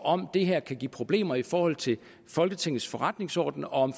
om det her kan give problemer i forhold til folketingets forretningsorden og